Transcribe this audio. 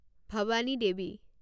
Bhavani Devi